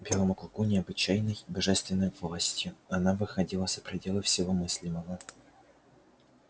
власть эта казалась белому клыку необычайной божественной властью она выходила за пределы всего мыслимого